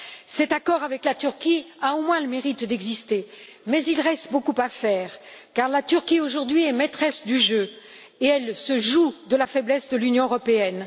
Cet accord avec la Turquie a au moins le mérite d'exister, mais il reste beaucoup à faire, car la Turquie aujourd'hui est maîtresse du jeu, et elle se joue de la faiblesse de l'Union européenne.